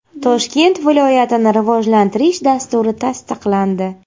Toshkent viloyatini rivojlantirish dasturi tasdiqlandi.